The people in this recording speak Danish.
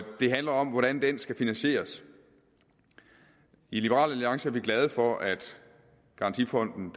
det handler om hvordan den skal finansieres i liberal alliance er vi glade for at garantifonden